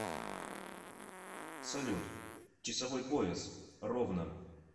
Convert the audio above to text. салют часовой пояс ровно